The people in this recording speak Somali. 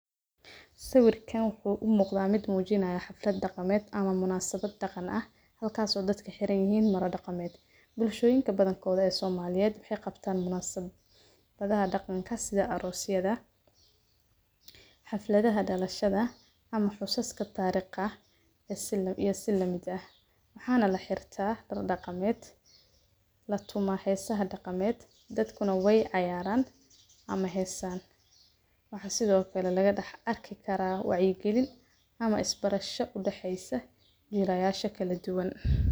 Sawirkan wuxuu u muuqda mid muujinaya xaflad dhaqameed ama munaasabad dhaqan ah halkaas oo dadka xiran yahiin marmo dhaqameed. Bulshooyinka badankooda ee Soomaaliya waxay qabtaan munaasabhadaha dhaqanka sida Aroosiada, xafladaha dhalashada ama xusaaska taariikha ah, iyo si la mid ah. Waxaan la xirta dar dhaqameed. La tuma haysaha dhaqameed dadkuna way cayaaran ama heesaan. Waxaa sidoo kale laga dhax arki karaa wacigelin ama isbarasha u dhexeysa jirayaasha kala duwan.